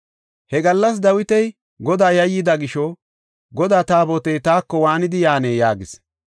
He gallas Dawiti Godaa yayyida gisho “Godaa Taabotey taako waanidi yaanee?” yaagis.